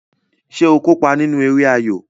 Ṣé o kópa nínú eré ayo?